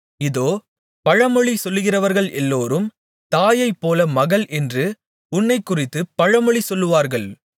இதோ பழமொழி சொல்லுகிறவர்கள் எல்லோரும் தாயைப்போல மகள் என்று உன்னைக்குறித்துப் பழமொழி சொல்லுவார்கள்